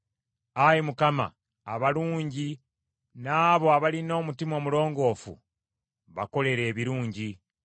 Ayi Mukama , abalungi n’abo abalina omutima omulongoofu bakolere ebirungi.